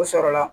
O sɔrɔ la